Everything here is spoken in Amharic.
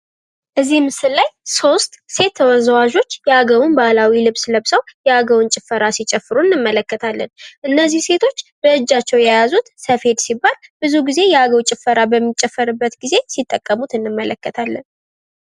እዚህ ምስል ላይ ሶስት ተወዛዋዦች የአገውን ባህላዊ ልብስ ለብሰው የአገውን ጭፈራ እየጨፈሩ እንመለከታለን። እነዚህ ሴቶች በእጃቸው የያዙር ስፌድ ሲባል ብዙ ጊዜ የአገው ጭፈራ በሚጨፈርበት ጊዜ ሲተቀሙት እንመለከታለን።